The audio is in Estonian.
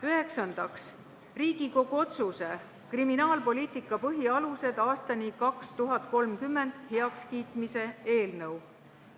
Üheksandaks, Riigikogu otsuse ""Kriminaalpoliitika põhialused aastani 2030" heakskiitmine" eelnõu.